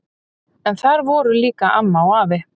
En þar voru líka amma og afi.